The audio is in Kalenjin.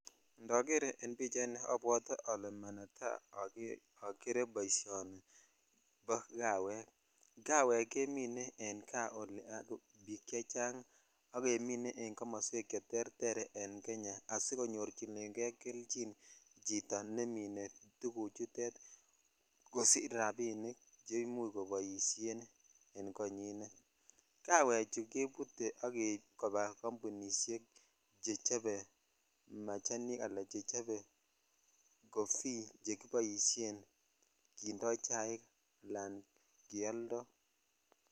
Elen manetai ogeree boishoni ni bo kawek kawek kemine en kaa yuu bik chechang ak kemine en kamaswek che terter en Kenya asikonyorchinen kei kekchin chito nemine tuguchutet kosich rabinik che imuch koboishen en konyinet kawechu kebute ak keib kobaa jambunishek che chobe machanik ala che chobe coffee che kiboshen kondo chaik ala keoldo.